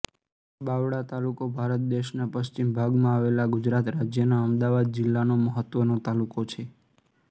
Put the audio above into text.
બાવળા તાલુકો ભારત દેશના પશ્ચિમ ભાગમાં આવેલા ગુજરાત રાજ્યના અમદાવાદ જિલ્લાનો મહત્વનો તાલુકો છે